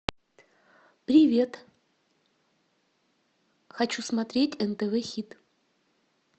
привет хочу смотреть нтв хит